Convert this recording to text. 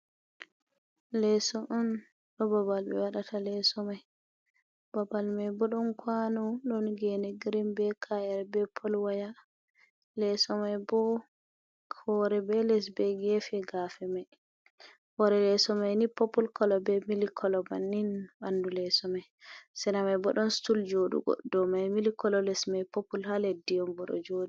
Leso on ɗo babal be waɗata leso mai babal mai bo ɗon kwano, ɗon gene grin be ka'ere be pol waya. Leso mai bo hore be les be gefe gefe mai hore. Leso mai ni popul kolo be milik kolo bannin ɓandu leso mai. Sera mai bo ɗon stul joɗugo dow mai milik kolo les mai popul ha leddi on bo ɗo joɗi.